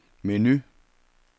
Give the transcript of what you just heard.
menu